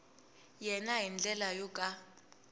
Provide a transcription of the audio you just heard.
yena hi ndlela yo ka